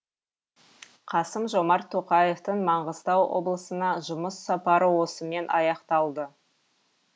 қасым жомарт тоқаевтың маңғыстау облысына жұмыс сапары осымен аяқталды